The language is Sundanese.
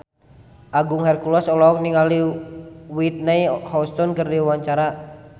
Agung Hercules olohok ningali Whitney Houston keur diwawancara